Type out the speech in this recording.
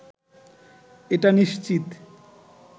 এটা নিশ্চিত